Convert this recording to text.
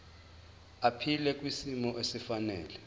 aphile kwisimo esifanele